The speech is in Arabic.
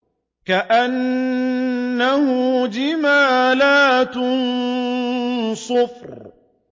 كَأَنَّهُ جِمَالَتٌ صُفْرٌ